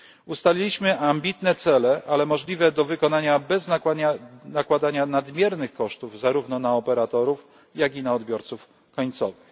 Ustaliliśmy ambitne cele, ale możliwe do wykonania bez nakładania nadmiernych kosztów zarówno na operatorów, jak i na odbiorców końcowych.